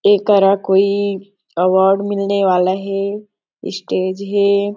एकरा कोई अवार्ड मिले वाला हे स्टेज हे।